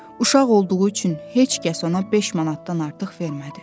Uşaq olduğu üçün heç kəs ona beş manatdan artıq vermədi.